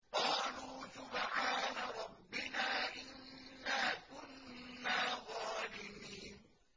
قَالُوا سُبْحَانَ رَبِّنَا إِنَّا كُنَّا ظَالِمِينَ